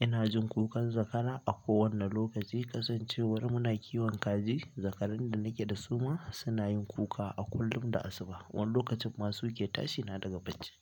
ina jin kukan zakara. A kowane lokaci kasancewar muna kiwon kaji, zakarun da nake da su ma suna yin kuka a kullum da asuba wanda lokacin masu ke tashi na daga bacci.